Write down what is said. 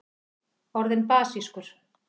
orðin basískur